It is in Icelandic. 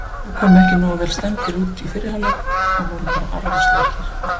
Við komum ekki nógu vel stemmdir út í fyrri hálfleik og vorum bara arfaslakir.